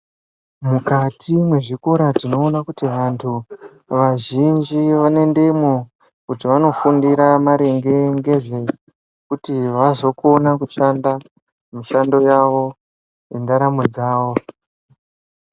Mukati mwezvikora tinoona kuti antu vazhinji vanoendemwo. Kuti vanofundira maringe ngezvekuti vazokona kushanda mishando yavo yendaramo dzavo.